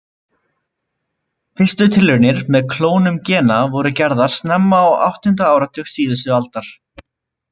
Fyrstu tilraunir með klónun gena voru gerðar snemma á áttunda áratug síðustu aldar.